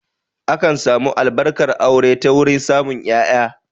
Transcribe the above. Akan samu Albarkar aure ta wurin samun ƴaƴa